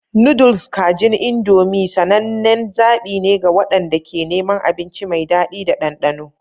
Noodles kajin Indomie sanannen zaɓi ne ga waɗanda ke neman abinci mai daɗi da ɗanɗano.